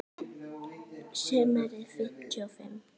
Sumarið fimmtíu og fimm.